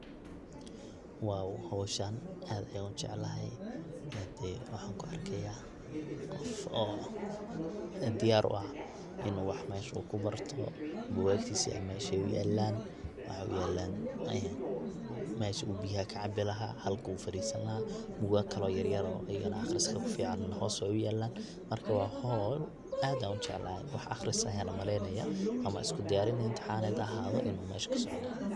Hoshan ad ayan ujeclahy, hadi waxan kuarkaya qoof oo diyar uah inu wax meshan kubarto, bugagtisa ay mesha yalan waxay uyalan, meshi u biyo kacabi lahay, halki uu fadisani lahay bugag kale oo yaryar okale oo aqriska kufican hos ayay uyalan, marka wa hol ad an ujeclahy wax aqris ayan umaleynaya ama isku diyarin imtixaned inu mesha kasocdo.